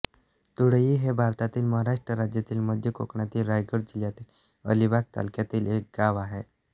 तुडळ हे भारतातील महाराष्ट्र राज्यातील मध्य कोकणातील रायगड जिल्ह्यातील अलिबाग तालुक्यातील एक गाव आहे